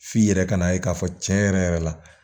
F'i yɛrɛ ka na ye k'a fɔ tiɲɛ yɛrɛ yɛrɛ la